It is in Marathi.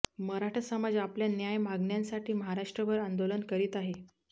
मराठा समाज आपल्या न्याय मागण्यांसाठी महाराष्ट्रभर आंदोलन करीत आहे